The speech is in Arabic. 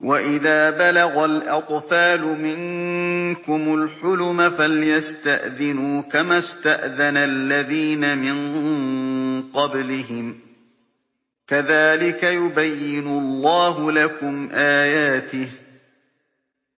وَإِذَا بَلَغَ الْأَطْفَالُ مِنكُمُ الْحُلُمَ فَلْيَسْتَأْذِنُوا كَمَا اسْتَأْذَنَ الَّذِينَ مِن قَبْلِهِمْ ۚ كَذَٰلِكَ يُبَيِّنُ اللَّهُ لَكُمْ آيَاتِهِ ۗ